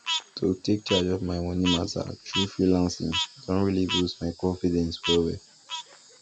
to take charge of my money matter through freelancing don really boost my confidence wellwell